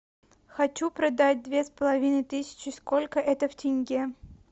хочу продать две с половиной тысячи сколько это в тенге